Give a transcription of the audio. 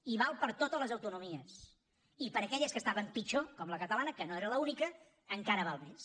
i val per a totes les autonomies i per a aquelles que estaven pitjor com la catalana que no era l’única encara val més